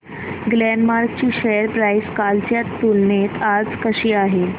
Glenmark ची share price कालच्या तुलनेत आज कशी आहे